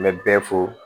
N bɛ bɛɛ fo